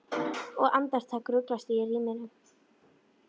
Og andartak ruglast ég í ríminu.